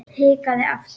Hikaði aftur.